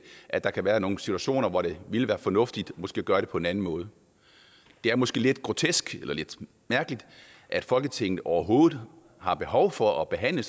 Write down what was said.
at der kan være nogle situationer hvor det ville være fornuftigt måske at gøre det på en anden måde det er måske lidt grotesk eller lidt mærkeligt at folketinget overhovedet har behov for at behandle